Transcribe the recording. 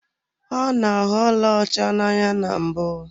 Ọ na-ahụ ọlaọcha n'anya na mbụ.